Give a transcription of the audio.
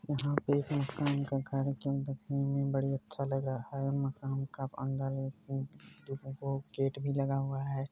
यहाँ पे एक मकान का घर जो देखने में बड़ी अच्छा लग रहा है| मकान का अंदर में गेट भी लगा हुआ है।